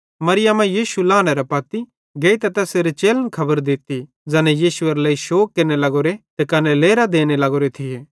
मरियमां यीशु लानेरे पत्ती गेइतां तैसेरे चेलन खबर दित्ती ज़ैना यीशुएरे लेइ शोग केरने लग्गोरे ते कने लेरां देने लग्गोरे थिये